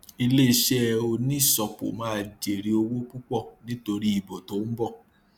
ilé iṣẹ oníṣọpọ máa jèrè owó púpò nítorí ìbò tó ń bọ